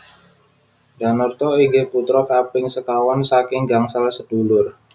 Danarto inggih putra kaping sekawan saking gangsal sedulur